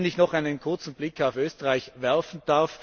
Ich möchte noch einen kurzen Blick auf Österreich werfen.